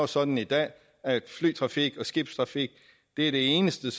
sådan i dag at flytrafik og skibstrafik er de eneste